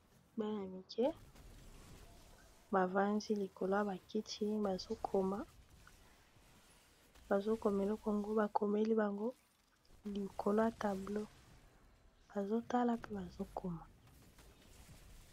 Bana mike bavandi likolo ya bakiti bazokoma, eloko yango bakomeli bango likolo ya tableau bazotala mpe bazokoma.